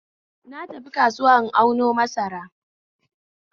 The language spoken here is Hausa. Na tafi kasuwa in auno masara